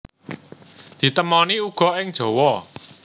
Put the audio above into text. Ditemoni uga ing Jawa